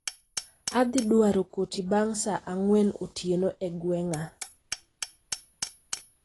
Adhi dwaro koti bang' saa ang'wen otieno e gweng'a